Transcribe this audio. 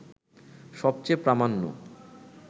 সবচেয়ে প্রামাণ্য